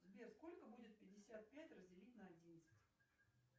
сбер сколько будет пятьдесят пять разделить на одиннадцать